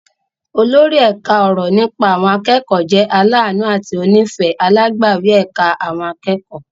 Olórí ẹ̀ka ọ̀rọ̀ nípa àwọn akẹ́kọ̀ọ́ jẹ́ aláàánú àti onífẹ̀ẹ́ alágbàwí ẹ̀ka àwọn akẹ́kọ̀ọ́.